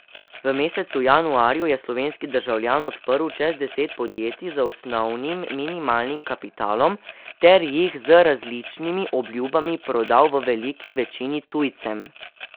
V mesecu januarju je slovenski državljan odprl čez deset podjetij z osnovnim minimalnim kapitalom ter jih z različnimi obljubami prodal v veliki večini tujcem.